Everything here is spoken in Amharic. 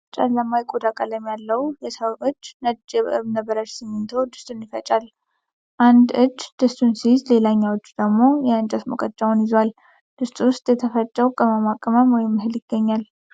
ጨለማ የቆዳ ቀለም ያለው የሰው እጅ ነጭ የእብነበረድ ስሚንቶ ድስቱን ይዞ ይፈጫል። አንድ እጅ ድስቱን ሲይዝ ሌላኛው እጅ ደግሞ የእንጨት ሙቀጫውን ይዟል። ድስቱ ውስጥ የተፈጨው ቅመማ ቅመም ወይም እህል ይገኛል።